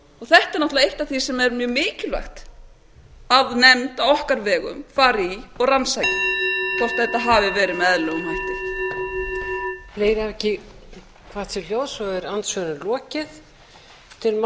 er náttúrlega eitt af því sem er mjög mikilvægt að nefnd á okkar vegum fari í og rannsaki hvort þetta hafi verið með eðlilegum hætti